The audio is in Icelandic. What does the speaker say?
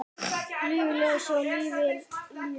Lifi ljósið og lifi lífið!